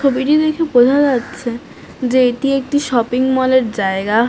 ছবিটি দেখে বোঝা যাচ্ছে যে এটি একটি শপিং মল এর জায়গা।